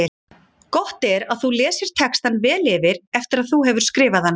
Gott er að þú lesir textann vel yfir eftir að þú hefur skrifað hann.